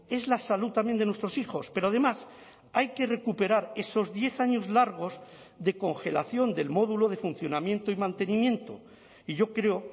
es la salud también de nuestros hijos pero además hay que recuperar esos diez años largos de congelación del módulo de funcionamiento y mantenimiento y yo creo